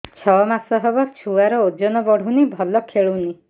ଛଅ ମାସ ହବ ଛୁଆର ଓଜନ ବଢୁନି ଭଲ ଖେଳୁନି